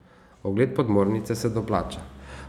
Ogled podmornice se doplača.